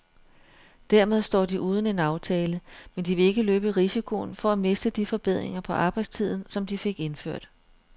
Dermed står de uden en aftale, men de vil ikke løbe risikoen for at miste de forbedringer på arbejdstiden, som de fik indført.